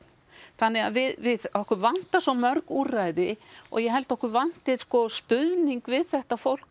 þannig að við okkur vantar svo mörg úrræði og ég held að okkur vanti sko stuðning við þetta fólk